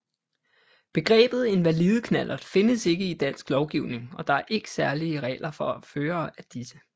Begrebet invalideknallert findes ikke i dansk lovgivning og der er IKKE særlige regler for førere af disse